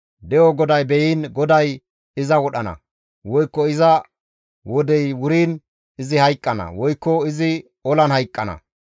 De7o GODAY be7iin, GODAY iza wodhana; woykko iza wodey wuriin izi hayqqana; woykko izi olan hayqqana.